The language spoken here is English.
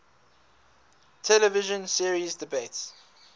television series debuts